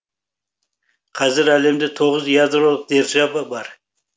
қазір әлемде тоғыз ядролық держава бар